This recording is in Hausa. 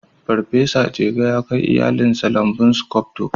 Farfesa Jega ya kai iyalinsa lambun sculptor